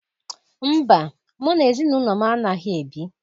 Mba, mụ na ezinụlọ m anaghị ebi